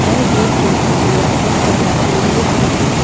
यह गेट के सामने बहुत सारा सीढ़ियां भी है।